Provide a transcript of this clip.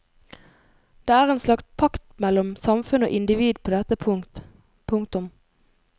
Det er en slags pakt mellom samfunn og individ på dette punkt. punktum